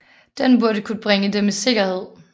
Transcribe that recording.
Den burde kunne bringe dem i sikkerhed